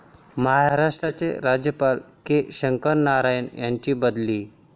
महाराष्ट्राचे राज्यपाल के. शंकरनारायण यांची बदली